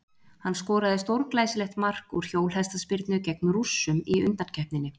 Hann skoraði stórglæsilegt mark úr hjólhestaspyrnu gegn Rússum í undankeppninni.